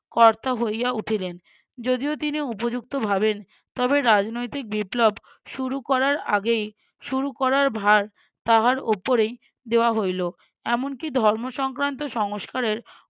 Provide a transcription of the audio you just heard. কর্তা হইয়া উঠিলেন যদিও তিনি উপযুক্ত ভাবেন তবে রাজনৈতিক বিপ্লব শুরু করার আগেই শুরু করার ভার তাহার ওপরেই দেওয়া হইলো এমনকি ধর্ম সংক্রান্ত সংস্কারের